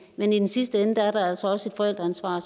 men i sidste ende er der altså også et forældreansvar